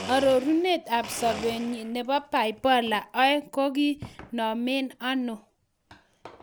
Ororunet ab sobenyin nebo Bipolar 2 koginomen ano?